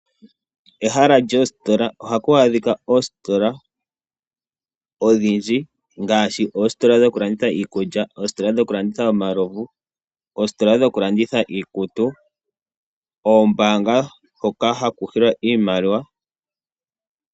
Kehala lyoositola ohaku adhika oositola odhindji ngaashi oositola dhokulanditha iikulya oositola dhokulanditha omalovu ,ositola dhokulanditha iikutu oombaanga hoka haku hilwa iimaliwa.